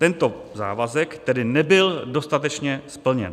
Tento závazek tedy nebyl dostatečně splněn.